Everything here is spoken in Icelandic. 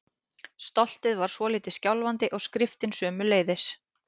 Stoltið var svolítið skjálfandi- og skriftin sömuleiðis.